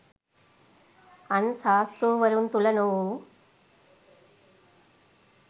අන් ශාස්තෘවරුන් තුළ නොවූ